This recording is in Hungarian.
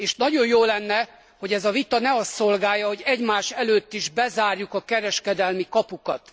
Nagyon jó lenne, hogy ez a vita ne azt szolgálja, hogy egymás előtt is bezárjuk a kereskedelmi kapukat.